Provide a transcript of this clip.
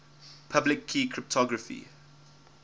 public key cryptography